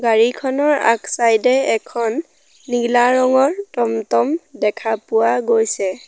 গাড়ীখনৰ আগ ছাইড এ এখন নীলা ৰঙৰ টম-টম দেখা পোৱা গৈছে।